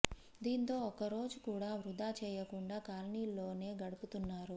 దీంతో ఒక్క రోజు కూడా వృథా చేయకుండా కాలనీల్లోనే గడుపుతున్నారు